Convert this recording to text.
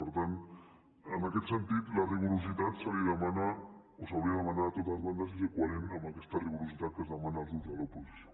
per tant en aquest sentit la rigorositat se li demana o s’hauria de demanar a totes bandes i ser coherent amb aquesta rigorositat que es demana als grups de l’oposició